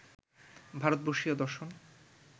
ভারতবর্ষীয় দর্শন